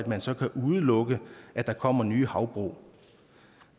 man så kan udelukke at der kommer nye havbrug